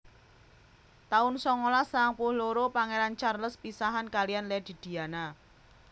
taun songolas sangang puluh loro Pangéran Charles pisahan kaliyan Lady Diana